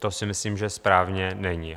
To si myslím, že správné není.